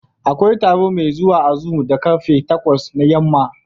Akwai taro mai zuwa a zoom da ƙarfe takwas na yamma.